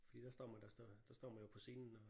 Fordi der står man der står der står man jo på scenen og